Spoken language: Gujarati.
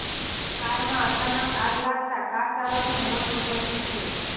કારમાં અચાનક આગ લાગતાં કાર ચાલકનું મોત નિપજ્યું છે